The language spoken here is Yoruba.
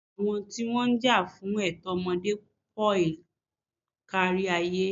Àwọn tí wọ́n ń jà fún ẹ̀tọ́ ọmọdé pọl kárí ayé.